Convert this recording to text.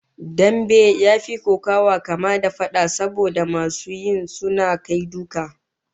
Dambe ya fi kokawa kama da fada, saboda masu yi suna kai duka